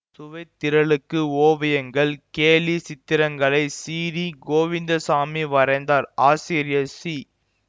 சுவைத்திரளுக்கு ஓவியங்கள் கேலி சித்தரங்களை சிறீ கோவிந்தசாமி வரைந்தார் ஆசிரியர் சி